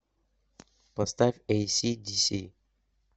поставь эйси диси